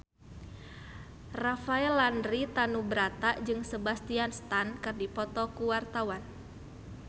Rafael Landry Tanubrata jeung Sebastian Stan keur dipoto ku wartawan